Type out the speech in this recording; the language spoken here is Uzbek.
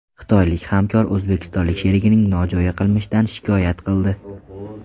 Xitoylik hamkor o‘zbekistonlik sherigining nojo‘ya qilmishidan shikoyat qildi.